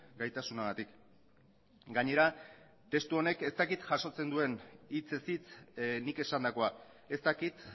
gaitasunagatik gainera testu honek ez dakit jasotzen duen hitzez hitz nik esandakoa ez dakit